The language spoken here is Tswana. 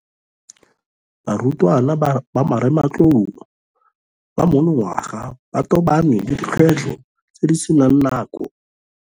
Barutwana ba marematlou ba monongwaga ba tobane le dikgwetlho tse di seng kana ka sepe ka ntlha ya mogare wa corona, COVID-19.